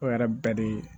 O yɛrɛ bɛɛ de